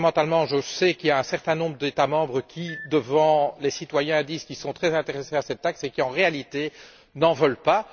Fondamentalement, je sais qu'il y a un certain nombre d'États membres qui, devant les citoyens, disent qu'ils sont très intéressés par cette taxe mais qui, en réalité, n'en veulent pas.